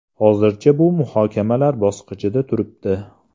Hozircha bu muhokamalar bosqichida turibdi.